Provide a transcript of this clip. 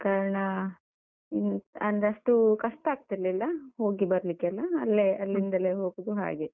ಆದ ಕಾರಣ, ಅಂದ್ರೆ ಅಷ್ಟು ಕಷ್ಟಾಗ್ತಿರ್ಲಿಲ್ಲ ಹೋಗಿ ಬರ್ಲಿಕ್ಕೆಲ್ಲ, ಅಲ್ಲೇ ಅಲ್ಲಿಂದಲೇ ಹೋಗುದು ಹಾಗೆ.